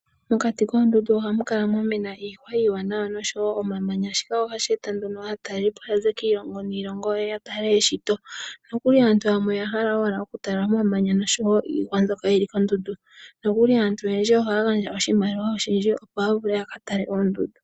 Mokati koondundu ohamu kala mwamena iihwa iiwanawa osho wo omamanya shika ohashi eta nduno aatelipo yaze kiilongo niilongo ya tale eshito. Aantu yamwe oya hala ashike oku tala iihwa osho wo omamanya nohaya gandja oshimaliwa oshindji, opo ya vule yaka tale oondundu.